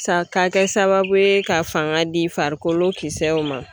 sa ka kɛ sababu ye ka fanga di farikolo kisɛw ma.